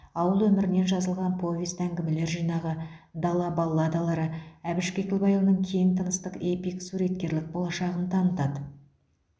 ауыл өмірінен жазылған повесть әңгімелер жинағы дала балладалары әбіш кекілбайұлының кең тынысты эпик суреткерлік болашағын танытады